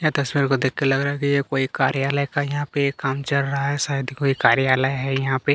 यह तस्वीर को देख के लग रहा है कोई कार्यालय का यहाँ पे काम चल रहा है शायद का कोई कर्यालय है यहाँ पे--